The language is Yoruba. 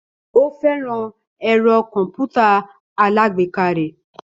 Ó fẹ́ràn ẹ̀rọ kọ̀m̀pútà alágbèéká rẹ̀